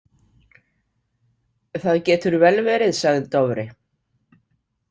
Það getur vel verið, sagði Dofri.